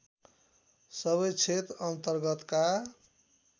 सबै क्षेत्र अन्तर्गतका